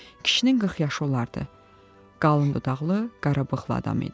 Kişinin 40 yaşı olardı, qalın dodaqlı, qara bığlı adam idi.